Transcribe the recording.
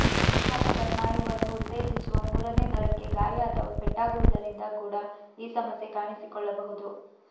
ಉತ್ಥಾಪಕ ಸ್ನಾಯುವನ್ನು ಉತ್ತೇಜಿಸುವ ಮೂರನೆ ನರಕ್ಕೆ ಗಾಯ ಅಥವಾ ಪೆಟ್ಟಾಗುವುದರಿಂದ ಕೂಡ ಈ ಸಮಸ್ಯೆ ಕಾಣಿಸಿಕೊಳ್ಳಬಹುದು